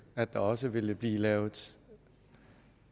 at der også ville blive lavet